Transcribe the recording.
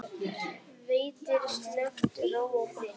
Veitir slökun, ró og frið.